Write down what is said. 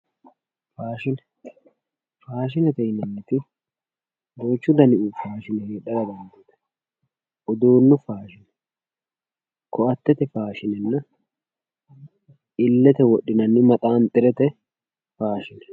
faashine faashinete yinanniti duuchu dani faashine heedhara dandiitanno uduunnu faashine ko"attete faashinenna illete wodhinanni maxaanxurete faashine